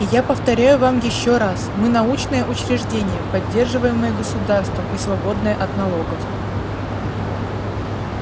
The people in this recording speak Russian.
и я повторяю вам ещё раз мы научное учреждение поддерживаемое государством и свободное от налогов